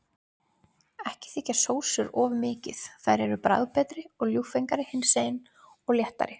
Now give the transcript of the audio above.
Ekki þykkja sósur of mikið, þær eru bragðbetri og ljúffengari hinsegin og léttari.